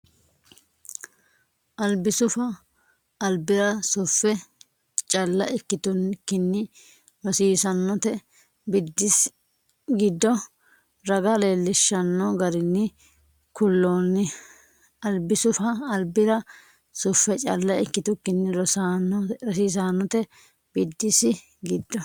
Albisufa albira suffe calla ikkitukkinni rosiisaanote biddissi giddo raga leellishanno garinni kulloonni Albisufa albira suffe calla ikkitukkinni rosiisaanote biddissi giddo.